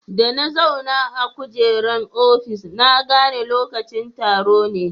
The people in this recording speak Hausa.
Da na zauna a kujeran ofis, na gane lokacin taro ne.